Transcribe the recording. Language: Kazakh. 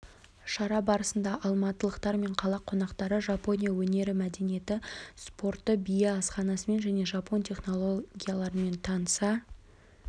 шара барысында алматылықтар мен қала қонақтары жапония өнері мәдениеті спорты биі асханасымен және жапон технологиялармен таныса